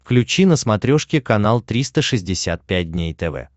включи на смотрешке канал триста шестьдесят пять дней тв